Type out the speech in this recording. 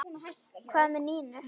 Hvað með Nínu?